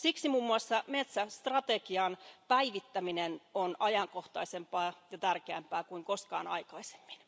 Siksi muun muassa metsästrategian päivittäminen on ajankohtaisempaa ja tärkeämpää kuin koskaan aikaisemmin.